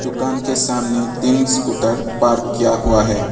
दुकान के सामने तीन स्कूटर पार्क किया हुआ है।